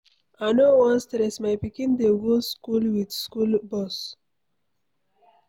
I no wan stress, my pikin dey go school with school bus.